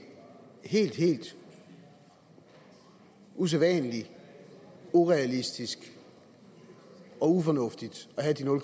helt helt usædvanlig urealistisk og ufornuftigt at have